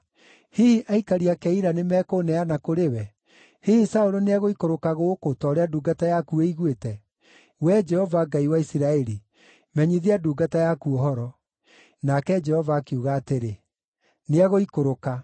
Hihi aikari a Keila nĩmekũũneana kũrĩ we? Hihi Saũlũ nĩegũikũrũka gũkũ, ta ũrĩa ndungata yaku ĩiguĩte? Wee Jehova, Ngai wa Isiraeli, menyithia ndungata yaku ũhoro.” Nake Jehova akiuga atĩrĩ, “Nĩegũikũrũka.”